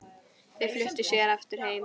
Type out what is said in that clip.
Þau fluttu síðar aftur heim.